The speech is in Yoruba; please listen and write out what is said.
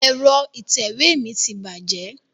Ẹ̀rọ ìtẹ̀wé mi ti bàjẹ́.